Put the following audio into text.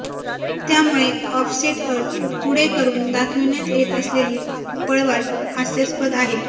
त्यामुळे ऑफसेट अट पुढे करून दाखविण्यात येत असलेली पळवाट हास्यास्पद आहे